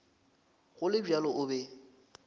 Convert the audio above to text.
go le bjalo o be